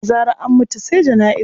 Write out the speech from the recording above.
Da zarar an mutu sai jana'iza.